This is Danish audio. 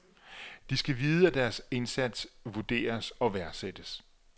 De skal vide at deres indsats vurderes og værdsættes.